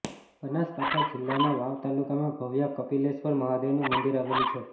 બનાસકાંઠા જીલ્લાના વાવ તાલુકામાં ભવ્ય કપિલેશ્વર મહાદેવનું મંદિર આવેલું છે